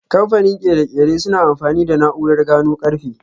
Kamfanin ƙere-ƙere suna amfani da na'urar gano karfe.